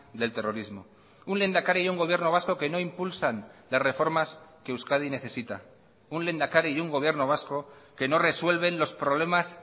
del terrorismo un lehendakari y un gobierno vasco que no impulsan de reformas que euskadi necesita un lehendakari y un gobierno vasco que no resuelven los problemas